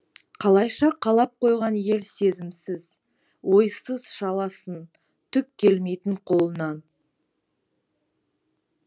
қалайша қалап қойған ел сезімсіз ойсыз шаласын түк келмейтін қолынан